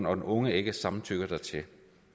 og den unge ikke samtykker dertil